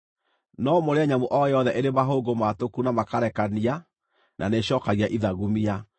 No mũrĩe nyamũ o yothe ĩrĩ mahũngũ maatũku na makarekania na nĩĩcookagia ithagumia.